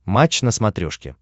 матч на смотрешке